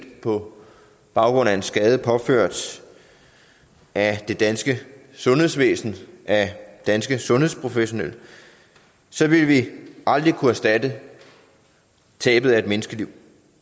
på baggrund af en skade påført af det danske sundhedsvæsen af danske sundhedsprofessionelle vil vi aldrig kunne erstatte tabet af et menneskeliv